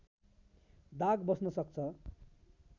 दाग बस्न सक्छ